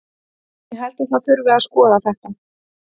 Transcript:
Ég held að það þurfi að skoða þetta.